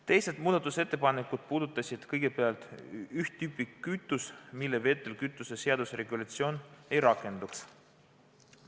Ülejäänud muudatusettepanekud puudutasid kõigepealt teatud tüüpi kütust, millele vedelkütuse seaduse regulatsioon ei rakenduks.